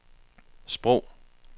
sprog